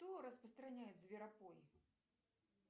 кто распространяет зверопой